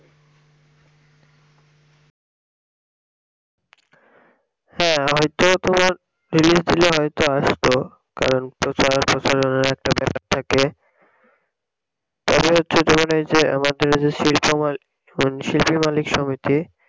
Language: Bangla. হ্যাঁ হইত তোমার release দিলে হইত আসতো কারণ প্রচার ট্রচার এরও একটা ব্যাপার থাকে তবে হচ্ছে তোমার এই যে আমাদের শিল্পী মালিক সমিতি